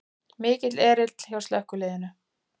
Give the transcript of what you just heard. Mikill erill hjá slökkviliðinu